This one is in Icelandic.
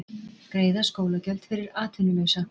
Greiða skólagjöld fyrir atvinnulausa